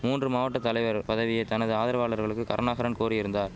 மூன்று மாவட்ட தலைவர் பதவியை தனது ஆதரவாளர்களுக்கு கருணாகரன் கோரியிருந்தார்